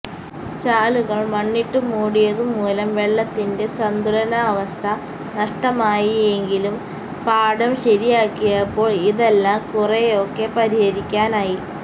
ചാലുകള് മണ്ണിട്ടുമൂടിയതുമൂലം വെള്ളത്തിന്റെ സന്തുലനാവസ്ഥ നഷ്ടമായിയെങ്കിലും പാടം ശരിയാക്കിയപ്പോള് ഇതെല്ലാം കുറെയൊക്കെ പരിഹരിക്കാനായി